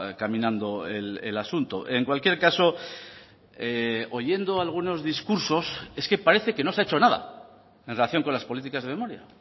caminando el asunto en cualquier caso oyendo algunos discursos es que parece que no se ha hecho nada en relación con las políticas de memoria